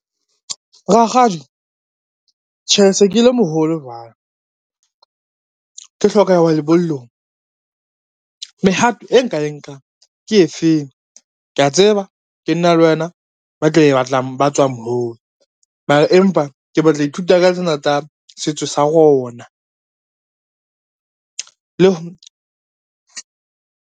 Rakgadi, tjhe se ke le moholo jwalo, ke hloka ho ya lebollong, mehato e nka e nkang ke efeng. Kea tseba ke nna le wena ba tlo ba tswang moo mara empa ke batla ho ithuta ka tsena tsa setso sa rona, le ho.